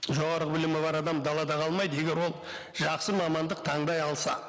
жоғарғы білімі бар адам далада қалмайды егер ол жақсы мамандық таңдай алса